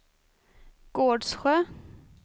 Gårdsjö